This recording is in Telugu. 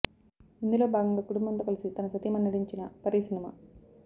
ఇందులో భాగంగా కుటుంబంతో కలిసి తన సతీమణి నటించిన పరీ సినిమ